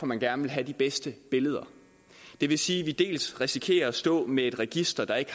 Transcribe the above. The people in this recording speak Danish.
man gerne vil have de bedste billeder det vil sige at vi dels risikerer at stå med et register der ikke